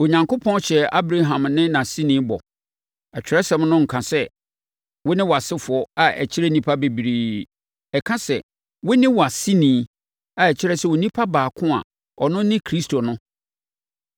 Onyankopɔn hyɛɛ Abraham ne nʼaseni bɔ. Atwerɛsɛm no nnka sɛ, “Wo ne wʼasefoɔ” a ɛkyerɛ nnipa bebree. Ɛka sɛ, “Wo ne wʼaseni” a ɛkyerɛ sɛ onipa baako a ɔno ne Kristo no.